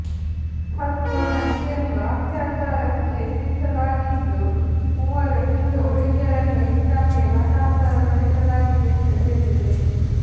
ಹತ್ತು ಮಂದಿಯನ್ನು ಅತ್ಯಾಚಾರಕ್ಕೆ ಯತ್ನಿಸಲಾಗಿದ್ದು ಮೂವರು ಹಿಂದೂ ಹುಡುಗಿಯರನ್ನು ಇಸ್ಲಾಂಗೆ ಮತಾಂತರಗೊಳಿಸಲಾಗಿದೆ ಎಂದು ಹೇಳಿದೆ